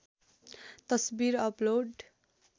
तस्वीर अपलोड